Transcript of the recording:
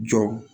Jɔ